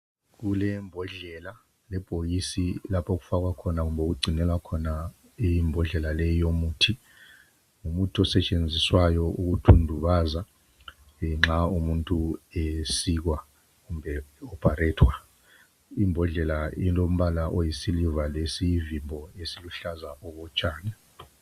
Kulembodlela lebhokisi okufakwa khona kumbe okugcinelwa khona imbodlela leyi yomuthi ngumuthi osetshenziswayo wokuthundubaza nxa umuntu esikwa kumbe operathwa imbodlela ilombala oyisiliva lesivimbo esiluhlaza okotshani